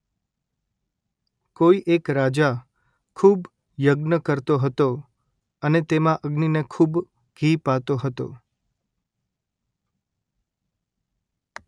કોઈ એક રાજા ખૂબ યજ્ઞ કરતો હતો અને તેમાં અગ્નિને ખૂબ ઘી પાતો હતો